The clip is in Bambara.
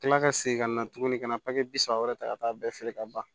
Kila ka segin ka na tuguni ka na papiye bi saba wɛrɛ ta ka taa bɛɛ feere ka ban